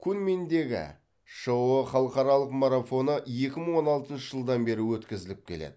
куньминдегі шыұ халықаралық марафоны екі мың он алтыншы жылдан бері өткізіліп келеді